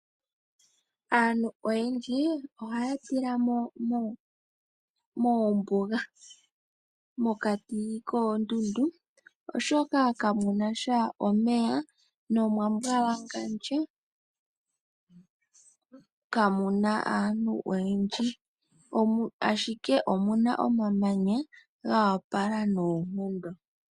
Aantu oyendji ohaya tila mo moombuga mokati koondundu oshoka kamuna sha omeya omwambwalangandja, kamu na aantu oyendji ashike omuna omamanya goopala noonkondo.